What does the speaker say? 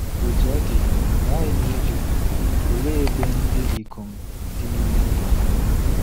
Otú ọ dị, aghaghị m ịjụ, òlee ebe ndị ikom dị n’ime ndụ ha?